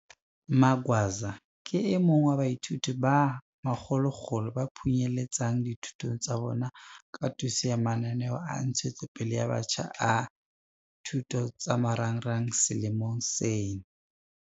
Magwaza ke e mong wa baithuti ba makgolokgolo ba phunyeletsang dithutong tsa bona ka thuso ya mananeo a ntshetsopele ya batjha a MISA selemo ka seng.